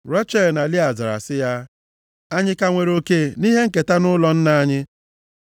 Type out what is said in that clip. Rechel na Lịa zara sị ya, “Anyị ka nwere oke nʼihe nketa nʼụlọ nna anyị?